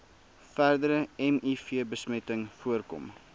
verdere mivbesmetting voorkom